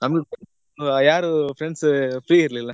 ನಮಗೂ ಯಾರು friends free ಇರ್ಲಿಲ್ಲ.